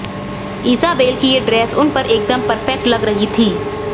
Isabelle की ये dress उन पर एकदम परफेक्ट लग रही थी